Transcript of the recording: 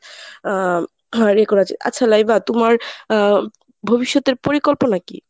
আ record আছে আচ্ছা লাইভা তোমার আ ভবিষ্যতের পরিকল্পনা কি?